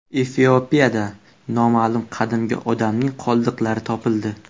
Efiopiyada noma’lum qadimgi odamning qoldiqlari topildi.